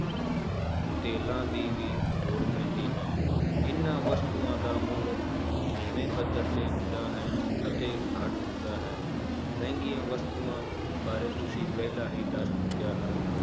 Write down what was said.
ਤੇਲਾਂ ਦੀ ਵੀ ਲੋੜ ਪੈਂਦੀ ਹੈ ਇਹਨਾਂ ਵਸਤੂਆਂ ਦਾ ਮੁੱਲ ਨੀਵੇਂ ਪੱਧਰ ਤੇ ਹੁੰਦਾ ਹੈ ਅਤੇ ਘੱਟ ਹੁੰਦਾ ਹੈ, ਮਹਿੰਗੀਆਂ ਵਸਤੂਆਂ ਬਾਰੇ ਤੁਸੀਂ ਪਹਿਲਾਂ ਹੀ ਦੱਸ ਚੁੱਕਿਆ ਹੈ,